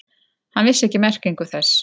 Hann vissi ekki merkingu þess.